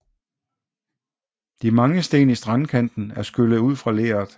De mange sten i strandkanten er skyllet ud fra leret